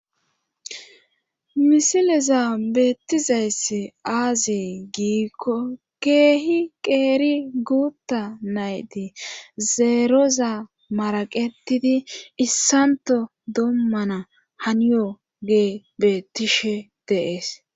misileza beettizayssi aazee giikko keehi qeeri guutta nayti zeeroza maraqetidi issanto doommana haniyoge beettishe de'ees